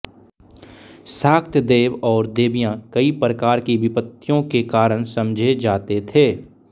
शाक्त देव और देवियाँ कई प्रकार की विपत्तियों के कारण समझे जाते थे